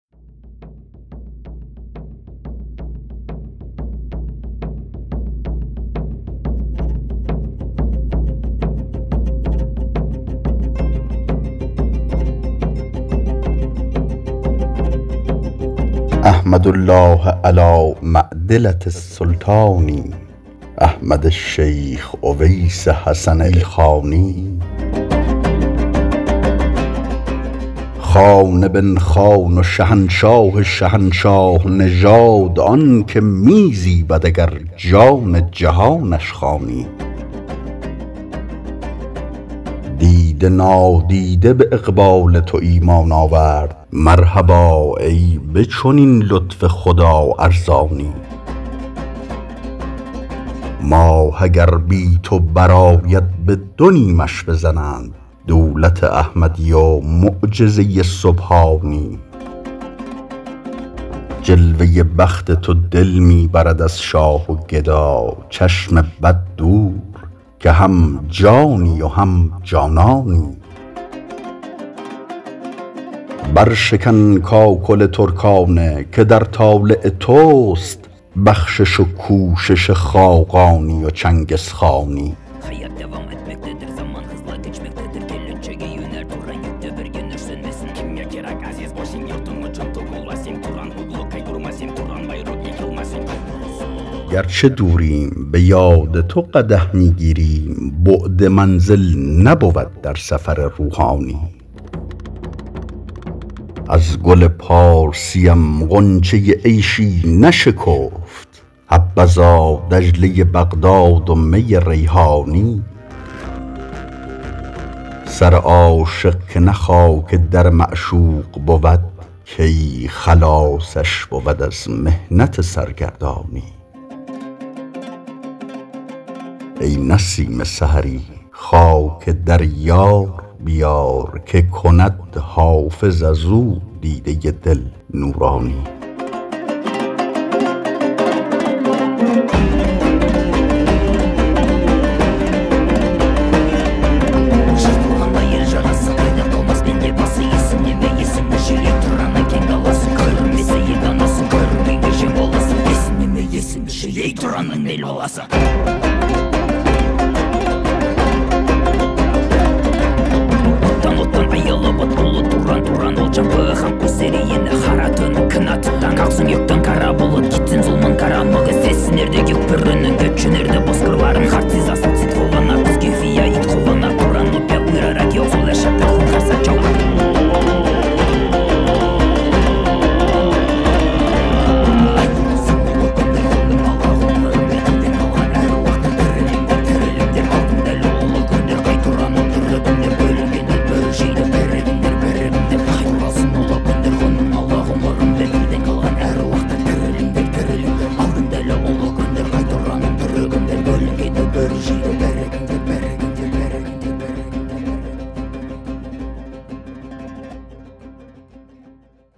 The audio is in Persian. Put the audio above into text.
احمد الله علی معدلة السلطان احمد شیخ اویس حسن ایلخانی خان بن خان و شهنشاه شهنشاه نژاد آن که می زیبد اگر جان جهانش خوانی دیده نادیده به اقبال تو ایمان آورد مرحبا ای به چنین لطف خدا ارزانی ماه اگر بی تو برآید به دو نیمش بزنند دولت احمدی و معجزه سبحانی جلوه بخت تو دل می برد از شاه و گدا چشم بد دور که هم جانی و هم جانانی برشکن کاکل ترکانه که در طالع توست بخشش و کوشش خاقانی و چنگزخانی گر چه دوریم به یاد تو قدح می گیریم بعد منزل نبود در سفر روحانی از گل پارسیم غنچه عیشی نشکفت حبذا دجله بغداد و می ریحانی سر عاشق که نه خاک در معشوق بود کی خلاصش بود از محنت سرگردانی ای نسیم سحری خاک در یار بیار که کند حافظ از او دیده دل نورانی